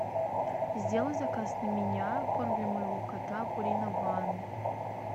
сделай заказ на меня корм для моего кота пурина ван